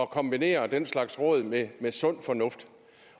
kombinere den slags råd med sund fornuft